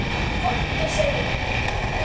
KOMDU SEGI ÉG!